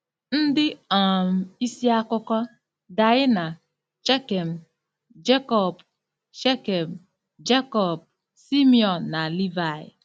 Ndị um isi akụkọ: Daịna, Shekem, Jekọb, Shekem, Jekọb, Simiọn, na Livaị